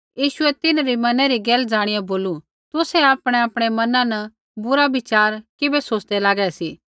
यीशुऐ तिन्हरी मनै री गैल ज़ाणिया बोलू तुसै आपणैआपणै मना न बुरा विचार किबै सोच़दै लागै सी